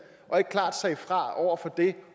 og ikke klart sagde fra over for det